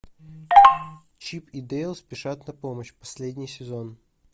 чип и дейл спешат на помощь последний сезон